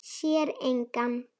Sér engan.